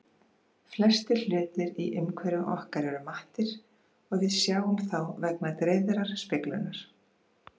Flestir hlutir í umhverfi okkar eru mattir og við sjáum þá vegna dreifðrar speglunar.